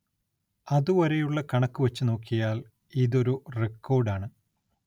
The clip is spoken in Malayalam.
അതുവരെയുള്ള കണക്കു വച്ചു നോക്കിയാൽ ഇതൊരു റിക്കോർഡാണ്.